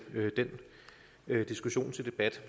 den diskussion til debat